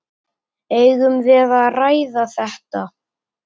Eigum við að ræða þetta?